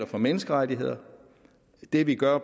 for menneskerettigheder og det vi gør